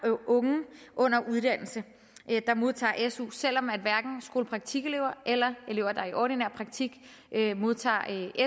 unge under uddannelse der modtager su selv om hverken skolepraktikelever eller elever i ordinær praktik modtager